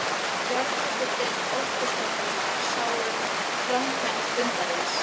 Jarðhitadeild Orkustofnunar sá um framkvæmd fundarins.